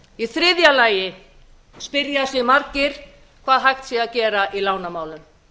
í þriðja lagi spyrja margir hvað hægt sé að gera í lánamálum